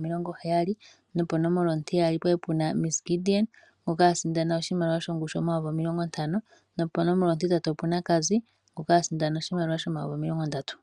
omilongo heyali. Nopo nomola ontiyali opwali puna Ms Gideon ngoka ali a sindana oshimaliwa shongushu omayovi omilongo ntano. Nopo nomola ontintatu opuna Cassy ngoka a sindana oshimaliwa shomayoyi omilongo ndatu.